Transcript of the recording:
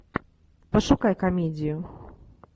пошукай комедию